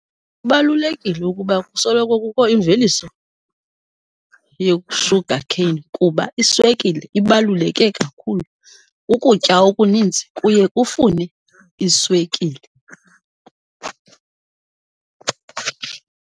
Kubalulekile ukuba kusoloko kukho imveliso ye-sugar cane kuba iswekile ibaluleke kakhulu, ukutya okunintsi kuye kufune iswekile.